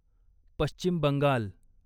Paschim Bengal